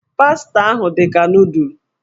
Pasta ahụ dị ka nụụdụl.